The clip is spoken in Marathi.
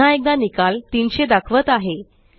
पुन्हा एकदा निकाल 300 दाखवत आहे